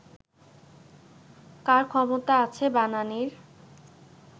কার ক্ষমতা আছে বানানির